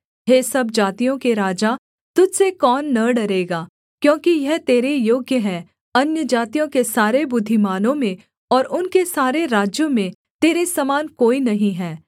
हे सब जातियों के राजा तुझ से कौन न डरेगा क्योंकि यह तेरे योग्य है अन्यजातियों के सारे बुद्धिमानों में और उनके सारे राज्यों में तेरे समान कोई नहीं है